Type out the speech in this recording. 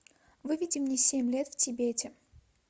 выведи мне семь лет в тибете